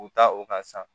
U ta o ka san